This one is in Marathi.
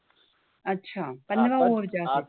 अच्छा पंधरा OVER च्या असायच्या